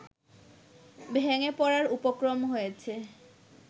ভেঙে পড়ার উপক্রম হয়েছে